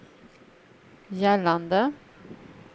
gällande